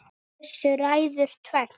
Þessu ræður tvennt